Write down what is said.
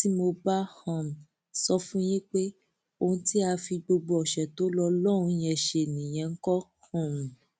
tí mo bá um sọ fún yín pé ohun tí a fi gbogbo ọṣẹ tó lò lọhùnún yẹn ṣe nìyẹn ńkọ um